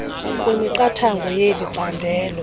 kwemiqathango yeli candelo